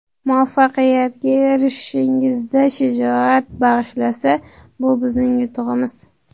muvaffaqiyatga erishishingizda shijoat bag‘ishlasa – bu bizning yutug‘imiz!.